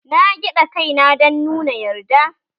Na gyada kai na dan nuna yarda.